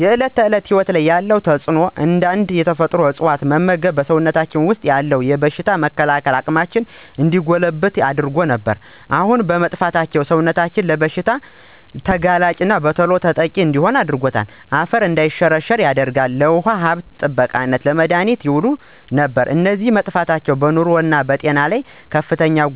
በዕለት ተዕለት ሕይወት ላይ ያለው ተጽእኖ አንዳንድ የተፈጥሮ እፅዋት መመግብ በሰውነታችን ወሰጥ ያሉትን የበሽታ የመከላከል አቅማችን እንዲጎለብት ያደርጉ ነበር። አሁን መጥፍታቸው ሰውነታችን ለብዙ አይነት ብሽታ ተጋላጭና በተሎ ተጠቂ ሆኖል። እናም አፈር እንዳይሸረሸራ ያደርጋል፣ ለውሃ ሀብት ጥበቃነት፣ ለመድሀኒትነት የውላሉ። እነዚ በመጠፍታቸው በንሮ ላይ እና በጤና ለይ